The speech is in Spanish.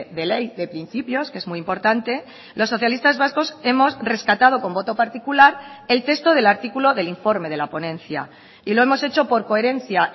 de ley de principios que es muy importante los socialistas vascos hemos rescatado con voto particular el texto del artículo del informe de la ponencia y lo hemos hecho por coherencia